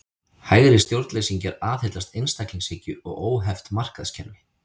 Hægri stjórnleysingjar aðhyllast einstaklingshyggju og óheft markaðskerfi.